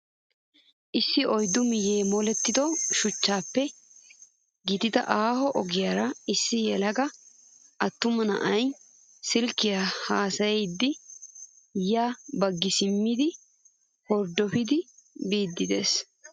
Issi oyiddu miyye molettido shuchchaappe giigida aaho ogiyaara issi yelaga attuma na'ayi silkkiyaa haasayiiddi ya baggi simmidi horddopidi biiddi des.